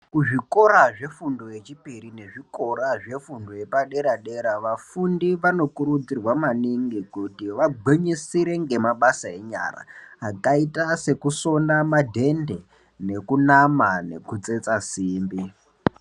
Kuzvikora zvefundo yechipiri nezvichikora zvepadera dera vafundi vanokurudzirwa maningi kuti vagwinyisire ngemabasa enyara akaita sekusona madhende ekunama nekutsetsa simbi.